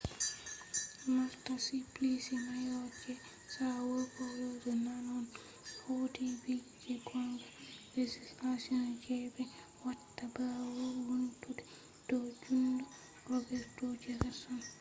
marta suplicy mayor je são paulo je nane on hauti bill je gonga. legislation je be watta bawo vountungo do jungo roberto jefferson